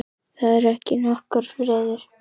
Það er ekki nokkur friður í húsinu.